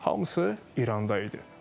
Hamısı İranda idi.